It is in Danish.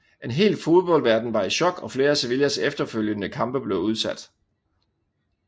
En hel fodboldverden var i chok og flere af Sevillas efterfølgende kampe blev udsat